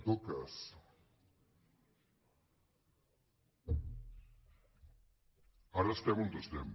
en tot cas ara estem on estem